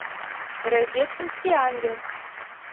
рождественский ангел